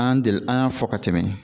An deli an y'a fɔ ka tɛmɛ